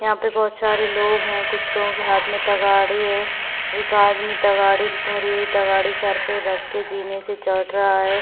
यहाँ पे बहुत सारे लोग है कुछ लोग बहुत लोग के तगाड़ी है एक आदमी भरी हुई तगड़ी सर पे रख के जीने से चहड़ रहा है ।